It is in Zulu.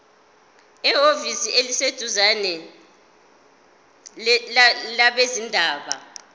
ehhovisi eliseduzane labezindaba